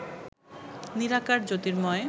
নিরাকার, জ্যোতির্ময়